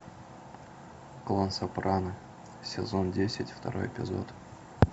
клан сопрано сезон десять второй эпизод